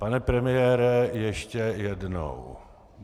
Pane premiére, ještě jednou.